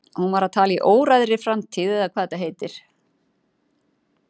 Hún var að tala í óræðri framtíð eða hvað þetta heitir.